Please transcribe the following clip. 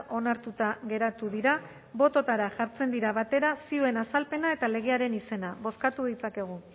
onartuta geratu dira bototara jartzen dira batera zioen azalpena eta legearen izena bozkatu ditzakegu